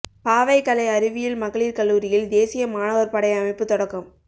பாவை கலை அறிவியல் மகளிா் கல்லூரியில் தேசிய மாணவா் படை அமைப்பு தொடக்கம்